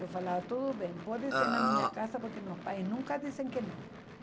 Eu falava, tudo bem, pode ser na minha casa, porque meus pais nunca dizem que não.